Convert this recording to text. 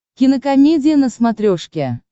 кинокомедия на смотрешке